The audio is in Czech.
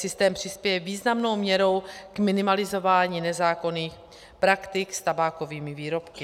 Systém přispěje významnou měrou k minimalizování nezákonných praktik s tabákovými výrobky.